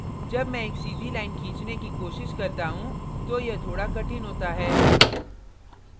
जब मैं एक सीधी line खींचने की कोशिश करता हूँ तो यह थोड़ा कठिन होता है